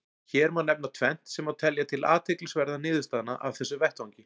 Hér má nefna tvennt sem má telja til athyglisverðra niðurstaðna af þessum vettvangi.